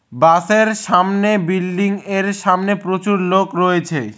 বাসের সামনে বিল্ডিংয়ের সামনে প্রচুর লোক রয়েছে।